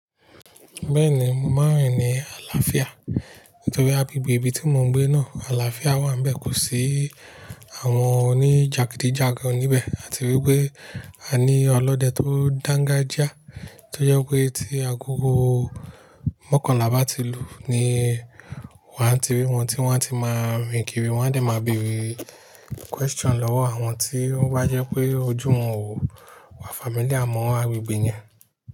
Bẹ́ẹ̀ni, mò ń rìn ní àlàáfíà nítorí agbegbè ibi tí mò ń gbé náà àlàáfíà wà níbẹ̀, kò sí àwọn oní jàgídíjàgan níbẹ̀ àti wípé a ní ọlọ́dẹ tó dángájá tó yẹ pé tí agogo mọ́kànlá bá ti lù ní wàá ti rí wọn tí wọ́n á ti máa rìn kiri wọ́n a lè máa béèrè question lọ́wọ́ àwọn tí ó bá jẹ́ pé ojú wọn ò wá familiar mọ́ àgbègbè yẹn.